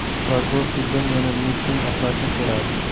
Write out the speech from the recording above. Prokuror suddan Lionel Messini oqlashni so‘radi .